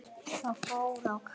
Þeir fóru á kaf.